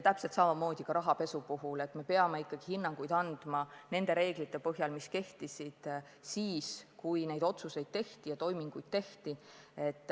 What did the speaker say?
Täpselt samamoodi ka rahapesu puhul me peame ikkagi hinnanguid andma nende reeglite põhjal, mis kehtisid siis, kui neid otsuseid ja toiminguid tehti.